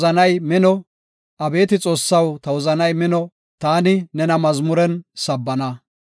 Ta wozanay mino; abeeti Xoossaw, ta wozanay mino; taani nena mazmuren sabbana.